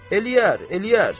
Eləyər, eləyər.